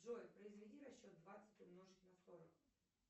джой произведи расчет двадцать умножить на сорок